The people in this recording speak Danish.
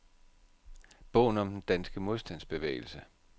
Bogen om den danske modstandsbevægelse.